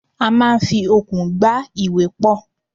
A máa ń fi okùn gbá ìwé pọ̀.